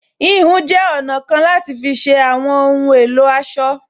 Híhun jẹ́ ọ̀nà kan láti fi ṣe àwọn ohun èlò aṣọ